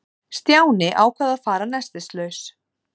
Stjáni ákvað að fara nestislaus.